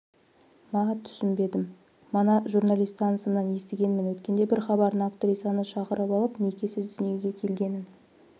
ма түсінбедім мана журналист танысымнан естігенмін өткенде бір хабарына актрисаны шақырып алып некесіз дүниеге келгенін